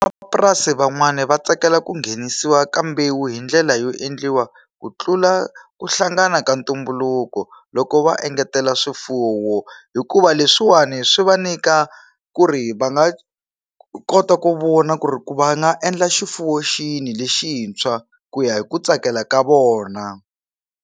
Van'wamapurasi van'wani va tsakela ku nghenisiwa ka mbewu hi ndlela yo endliwa ku tlula ku hlangana ka ntumbuluko loko va engetela swifuwo hikuva leswi leswiwani swi va nyika ku ri va nga kota ku vona ku ri ku va nga endla xifuwo xini lexintshwa ku ya hi ku tsakela ka vona.